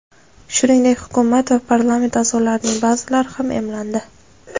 Shuningdek, hukumat va parlament a’zolarining ba’zilari ham emlandi.